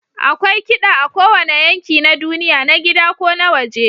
Akwai kiɗa a kowane yanki na duniya, na gida ko na waje.